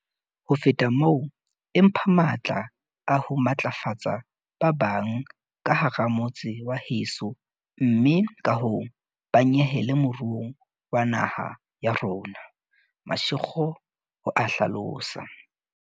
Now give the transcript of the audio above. "Ho feta moo, e mpha matla a ho matlafatsa ba bang ka hara motse wa heso mme kahoo ba nyehele moruong wa naha ya rona," Mashego o a hlalosa.